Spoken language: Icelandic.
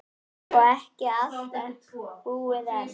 Og ekki allt búið enn.